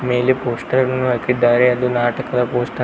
ಮೇಲೆ ಪೋಸ್ಟರ್ ನ್ನು ಹಾಕಿದ್ದಾರೆ ಅದು ನಾಟಕದ ಪೋಸ್ಟರ್ .